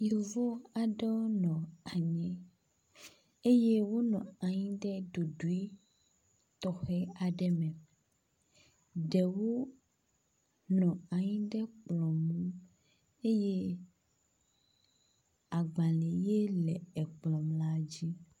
Yovo aɖewo nɔ anyi eye wo nɔanyi ɖe ɖoɖui tɔxɛaɖe me ɖewo nɔ anyi ɖe kplɔŋu eye agbale ye le akplɔ dzi